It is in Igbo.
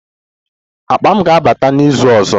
Akpa m ga-abata n'izu ọzọ